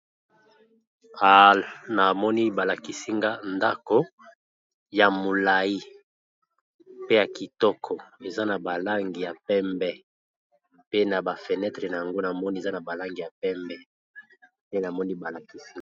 Na moni balakisinga ndako ya molai pe ya kitoko eza na ba langi ya pembe pe na ba fenetre nango namoni eza na ba langi ya pembe nde namoni ba lakisinga.